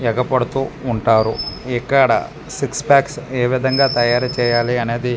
ఏగ పడుతు ఉంటారు ఇక్కడ సిక్స్ ప్యాక్స్ ఏ విధంగా తయారు చేయాలి అనేది --